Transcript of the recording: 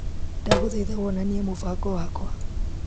Ndagũthaitha wonanie mũbango wakwa .